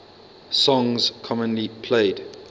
songs commonly played